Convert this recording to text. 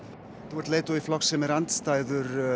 þú ert leiðtogi flokks sem er andstæður